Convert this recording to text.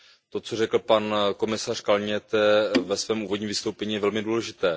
To, co řekl pan komisař Cañete ve svém úvodním vystoupení, je velmi důležité.